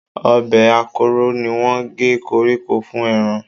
Ọ̀bẹ akọ́rọ́ ni wọ́n gé koríko fún ẹran